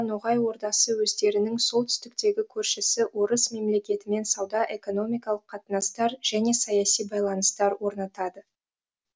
ноғай ордасы өздерінің солтүстіктегі көршісі орыс мемлекетімен сауда экономикалық қатынастар және саяси байланыстар орнатады